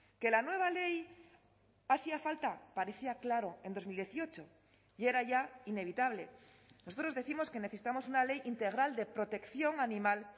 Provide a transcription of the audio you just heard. que la nueva ley hacía falta parecía claro en dos mil dieciocho y era ya inevitable nosotros décimos que necesitamos una ley integral de protección animal